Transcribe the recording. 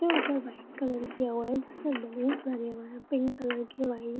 ऊपर white colour किया हुआ हैजिस में बैलून्स लगे हुए हैं | पिंक कलर के वाइट --